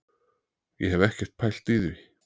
Ég hef ekkert pælt í því.